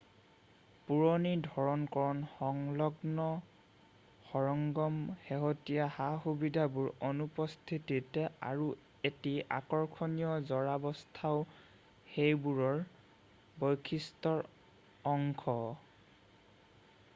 পুৰণি ধৰণ-কৰণৰ সংলগ্ন সৰঞ্জাম শেহতীয়া সা-সুবিধাবোৰৰ অনুপস্থিতিতি আৰু এটি আকৰ্ষণীয় জৰাৱস্থাও সেইবোৰৰ বৈশিষ্ট্যৰ অংশ